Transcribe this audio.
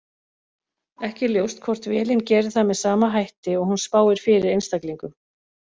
Ekki er ljóst hvort vélin gerir það með sama hætti og hún spáir fyrir einstaklingum.